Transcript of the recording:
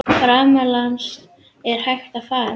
Framlag hans til haffræðinnar er um margt merkilegt.